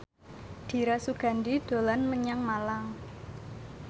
Dira Sugandi dolan menyang Malang